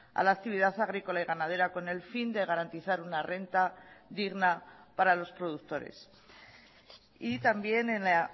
a la actividad agrícola y ganadera con el fin de garantizar una renta digna para los productores y también en la